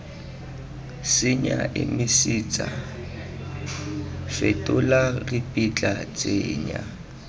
senya emisetsa fetola ripitla tsenya